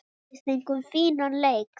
Við fengum fínan leik.